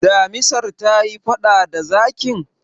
damisar ta yi faɗa da zakin?